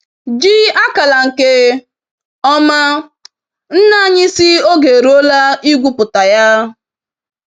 Ji akala nke oma; nna anyị sị oge eruola igwu pụta ya.